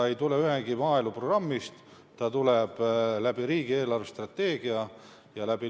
See ei tule ühegi maaeluprogrammi raames, see eraldatakse riigi eelarvestrateegia alusel.